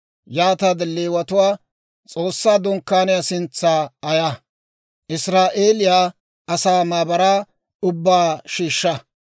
Yaataade Leewatuwaa S'oossaa Dunkkaaniyaa sintsa ayaa; Israa'eeliyaa asaa maabaraa ubbaa shiishsha.